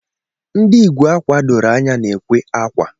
Ndị ikwe akwa doro anya na ekwe akwa